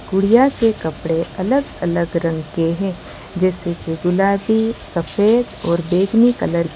गुड़िया के कपड़े अलग अलग रंग के हैं जैसे कि गुलाबी सफेद और बैंगनी कलर की --